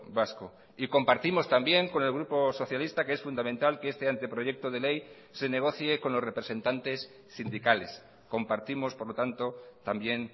vasco y compartimos también con el grupo socialista que es fundamental que este anteproyecto de ley se negocie con los representantes sindicales compartimos por lo tanto también